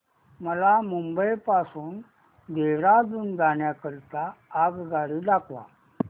मला मुंबई पासून देहारादून जाण्या करीता आगगाडी दाखवा